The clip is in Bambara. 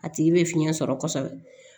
A tigi bɛ fiɲɛ sɔrɔ kɔsɔbɛ